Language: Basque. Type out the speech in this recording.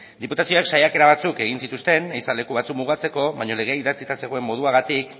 diputazioak saiakera batzuk egin zituzten ehiza leku batzuk mugatzeko baina legea idatzita zegoen moduagatik